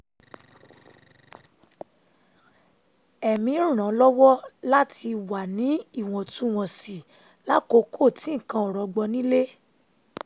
ẹ̀mí ó ràn án lọ́wọ́ láti wà ní ìwọ̀ntúnwọ̀nsì lákòókò tí nǹkan ò rọgbọ nílé